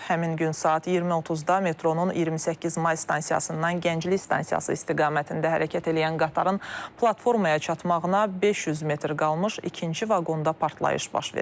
Həmin gün saat 20:30-da metronun 28 may stansiyasından Gənclik stansiyası istiqamətində hərəkət eləyən qatarın platformaya çatmağına 500 metr qalmış ikinci vaqonda partlayış baş verib.